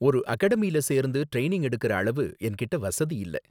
ஒரு அகாடமியில சேர்ந்து ட்ரைனிங் எடுக்குற அளவு என்கிட்ட வசதி இல்ல.